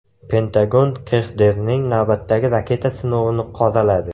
Pentagon KXDRning navbatdagi raketa sinovini qoraladi.